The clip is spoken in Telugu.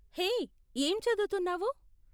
హే, ఏం చదువుతున్నావు?